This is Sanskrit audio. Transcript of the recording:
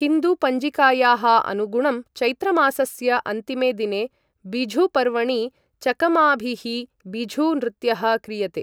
हिन्दु पञ्चिकायाः अनुगुणं चैत्रमासस्य अन्तिमे दिने बिझू पर्वणि चकमाभिः बिझू नृत्यः क्रियते।